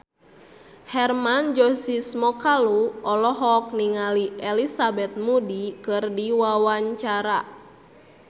Hermann Josis Mokalu olohok ningali Elizabeth Moody keur diwawancara